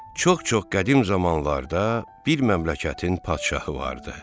Çox-çox qədim zamanlarda bir məmləkətin padşahı vardı.